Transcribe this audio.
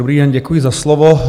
Dobrý den, děkuji za slovo.